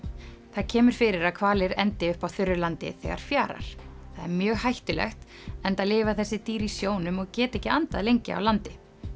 það kemur fyrir að hvalir endi uppi á þurru landi þegar fjarar það er mjög hættulegt enda lifa þessi dýr í sjónum og geta ekki andað lengi á landi